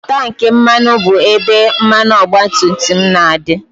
Tankị mmanụ bụ ebe mmanụ ọgbatumtum na-adị